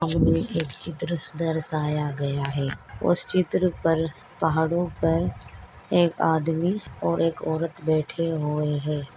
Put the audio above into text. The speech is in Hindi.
एक चित्र दर्शाया गया है। उस चित्र पर पहाड़ों पर एक आदमी और एक औरत बैठे हुए है।